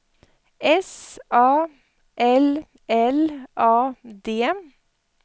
S A L L A D